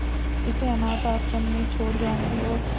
इसे अनाथ आश्रम में छोड़ जाऊंगी और